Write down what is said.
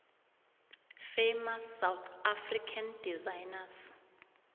famous south african designers